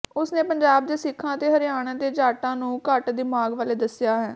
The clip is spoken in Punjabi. ਉਸਨੇ ਪੰਜਾਬ ਦੇ ਸਿੱਖਾਂ ਅਤੇ ਹਰਿਆਣੇ ਦੇ ਜਾਟਾਂ ਨੂੰ ਘੱਟ ਦਿਮਾਗ ਵਾਲੇ ਦੱਸਿਆ ਹੈ